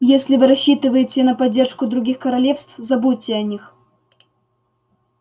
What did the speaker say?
если вы рассчитываете на поддержку других королевств забудьте о них